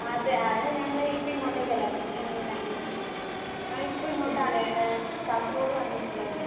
അത് അത് ഞങ്ങൾ ഇപ്പൊ ഇങ്ങോട്ടേക്ക് അല്ലെ. അപ്പോൾ അങ്ങനെ ലാംഗ്വേജ് മാറി. ഞാൻ ഇപ്പോൾ ഇങ്ങോട്ടാണ് ഏഹ് കാസർഗോഡ് വന്നിട്ടുള്ളതാണ്.